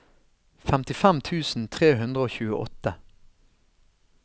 femtifem tusen tre hundre og tjueåtte